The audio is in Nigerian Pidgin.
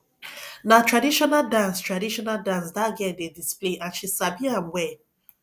na traditional dance traditional dance dat girl dey display and she sabi am well